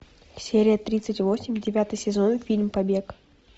серия тридцать восемь девятый сезон фильм побег